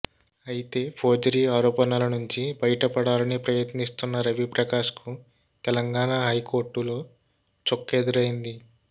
అయితే ఫోర్జరీ ఆరోపణల నుంచి బయటపడాలని ప్రయత్నిస్తున్న రవి ప్రకాష్ కు తెలంగాణా హైకోర్టు లో చుక్కెదురైంది